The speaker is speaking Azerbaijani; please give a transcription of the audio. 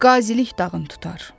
Qazılıq dağın tutar.